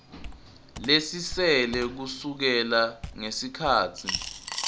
lesisele kusukela ngesikhatsi